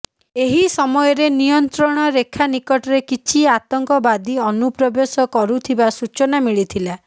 ଏହି ସମୟରେ ନିୟନ୍ତ୍ରଣ ରେଖା ନିକଟରେ କିଛି ଆତଙ୍କବାଦୀ ଅନୁପ୍ରବେଶ କରୁଥିବା ସୂଚନା ମିଳିଥିଲା